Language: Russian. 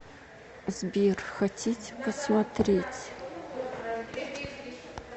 сбер хотите посмотреть